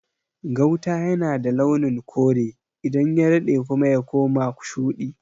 Gauta yana da launin kore, idan ya daɗe kuma y akoma shuɗi.